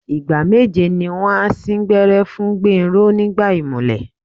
Ìgbà meje ni wọ́n á sín gbẹ́rẹ́ fún Gbénró nígbà ìmùlẹ̀.